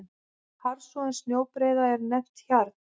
Harðfrosin snjóbreiða er nefnd hjarn.